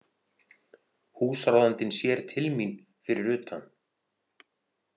Húsráðandinn sér til mín fyrir utan.